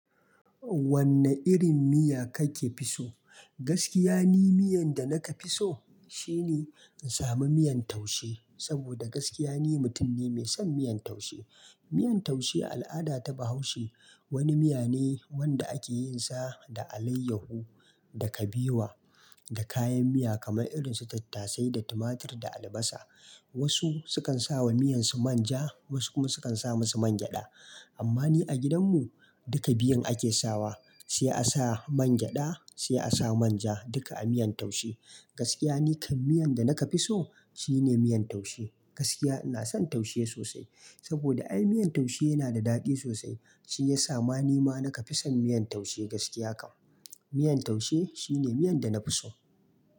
Wanne irin miya kake fiso? Gaskiya ni miyan da naka fi so shine in samu miyan taushe. Saboda gaskiya ni mutum ne mai son miyan taushe. Miyan taushe al'ada ta Bahaushe wani miya ne wanda ake yin sa da alayyahu da kabewa da kayan miya kamar irin su tattasai da tumatur da albasa. Wasu sukan sawa miyansu manja wasu kuma sukan sa musu man gyada. Amma ni a gidanmu duka biyun ake sawa, sai a sa man gyada sai a sa manja duka a miyan taushe. Gaskiya ni kai miyan da naka fi so shine miyan taushe. Gaskiya ina son taushe sosai saboda ai miyan taushe yana da daɗi sosai shi yasa ma ni ma naka fi son miyan taushe gaskiya kam. Miyan taushe shine miyan da na fi so.